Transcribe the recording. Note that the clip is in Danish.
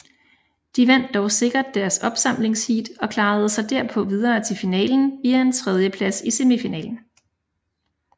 De vandt dog sikkert deres opsamlingsheat og klarede sig derpå videre til finalen via en tredjeplads i semifinalen